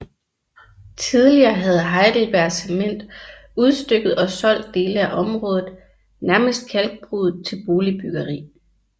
Tidligere havde Heidelberg Cement udstykket og solgt dele af området nærmest kalkbruddet til boligbyggeri